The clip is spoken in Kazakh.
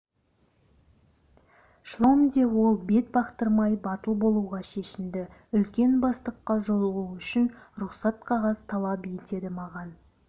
шлагбаумде ол бет бақтырмай батыл болуға шешінді үлкен бастыққа жолығу үшін рұқсат қағаз талап етеді маған